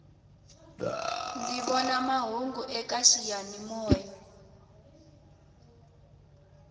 ndzi vona mahungu eka xiyani moya